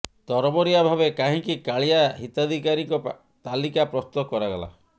ତରବରିଆ ଭାବେ କାହିଁକି କାଳିଆ ହିତାଧିକାରୀଙ୍କ ତାଲିକା ପ୍ରସ୍ତୁତ କରାଗଲା